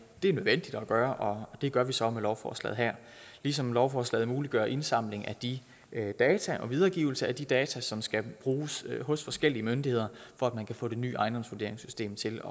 det er nødvendigt at gøre det gør vi så med lovforslaget her ligesom lovforslaget muliggør indsamling af de data og videregivelse af de data som skal bruges hos forskellige myndigheder for at man kan få det nye ejendomsvurderingssystem til